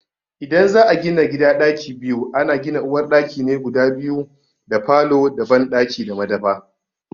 idan za a gina gida ɗaki biyu, ana gina uwar ɗaki ne guda biyu da falo da banɗaki da madafa.